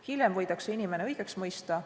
Hiljem võidakse inimene õigeks mõista.